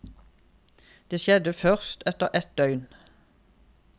Det skjedde først etter et døgn.